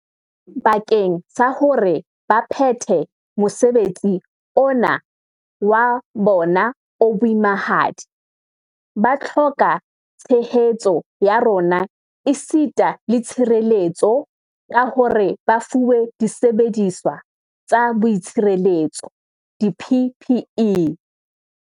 Bakeng sa hore ba phethe mosebetsi ona wa bona o boimahadi, ba hloka tshehetso ya rona esita le tshireletso ka hore ba fuwe disebediswa tsa boitshireletso, di-PPE.